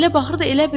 Elə baxırdı.